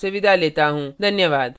धन्यवाद